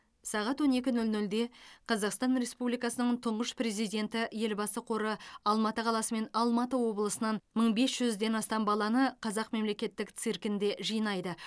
сағат он екі нөл нөлде қазақстан республикасының тұңғыш президенті елбасы қоры алматы қаласы мен алматы облысынан мың бес жүзден астам баланы қазақ мемлекеттік циркінде жинайды